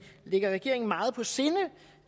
ligger regeringen meget på sinde